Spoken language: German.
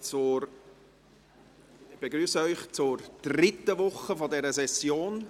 Ich begrüsse Sie zur dritten Woche dieser Session.